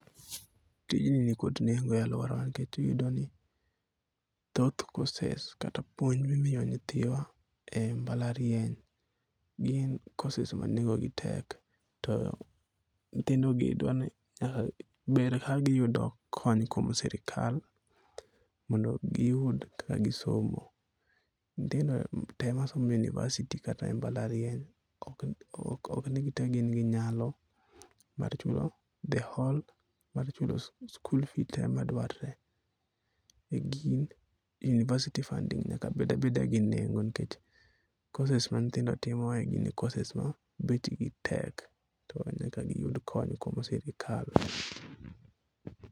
Tijni nikod nengo e aluorawa nikech iyudo ni thoth courses kata puonj ma imiyo nyithiwa e mbalariany gin courses ma nengogi tek to nyithindogi dwa ni ber kagiyudo kony koa kuom sirkal mondo giyud kaka gisomo. Nyithindo tee masomo e university kata mbalariany ok ni gite gin gi nyalo mar chulo school fees te madwarre e gin university funding [ s] nyaka bed abeda gi nengo nikech courses ma nyithindo timo courses go nengo gi tek chuno ni nyaka giyud kony kowuok kuom sirkal.